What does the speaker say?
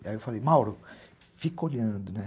Aí eu falei, Mauro, fica olhando, né?